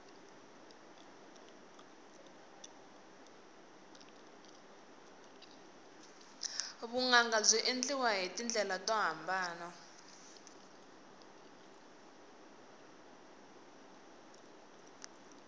vunanga byi endliwa hi tindlela to hambana